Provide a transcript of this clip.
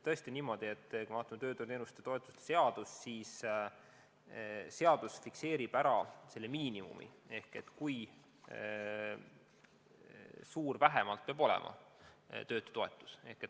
Tõesti on niimoodi, et kui me vaatame tööturuteenuste ja -toetuste seadust, siis see fikseerib miinimumi, kui suur peab olema töötutoetus.